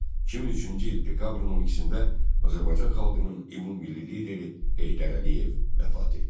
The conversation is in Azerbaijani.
2003-cü il dekabrın 12-də Azərbaycan xalqının ümummilli lideri Heydər Əliyev vəfat etdi.